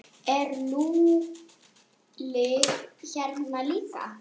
Er Lúlli hérna líka?